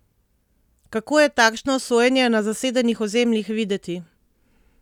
Kako je takšno sojenje na zasedenih ozemljih videti?